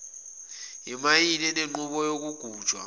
imayini enenqubo yokugujwa